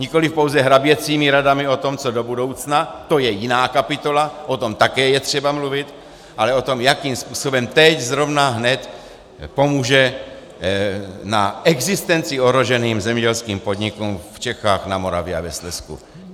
Nikoli pouze hraběcími radami o tom, co do budoucna, to je jiná kapitola, o tom také je třeba mluvit, ale o tom, jakým způsobem teď, zrovna, hned, pomůže v existenci ohroženým zemědělským podnikům v Čechách, na Moravě a ve Slezsku.